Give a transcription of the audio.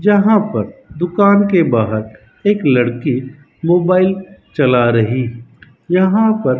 यहां पर दुकान के बाहर एक लड़की मोबाइल चला रही यहां पर--